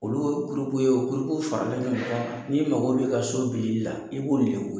Oluu o ye o w faralen don ɲɔgɔn kan. N'i mago b'i ka so bilili la i b'olu de we